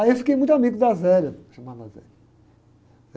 Aí eu fiquei muito amigo da, chamava.